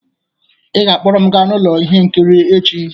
Ị ga-akpọrọ m gaa ụlọ ihe nkiri echi!